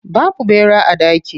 Babu ɓera a daki.